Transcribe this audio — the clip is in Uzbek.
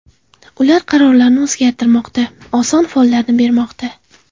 Ular qarorlarini o‘zgartirmoqda, oson follarni bermoqda.